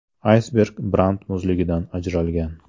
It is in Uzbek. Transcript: Aysberg Brant muzligidan ajralgan.